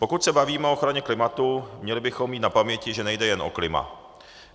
Pokud se bavíme o ochraně klimatu, měli bychom mít na paměti, že nejde jen o klima.